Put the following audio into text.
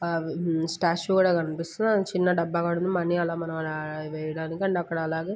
ఆ మ్మ్ ఆ స్టార్స్ కూడా కనిపిస్తున్నాయి. ముందు చిన్న డబ్బా కూడా కనిపిస్తుంది. ముందు ఆలా అలాగే--